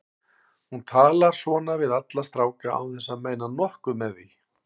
Hún talar svona við alla stráka án þess að meina nokkuð með því.